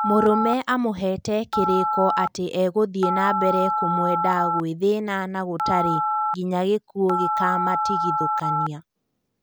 Mũrũme amũhete kĩrĩko ati egũthie nambere kũmwenda guĩthĩna na gũtarĩ nginya gĩkuo gĩkamatigithokania